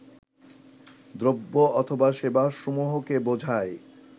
দ্রব্য অথবা সেবাসমূহকে বোঝায়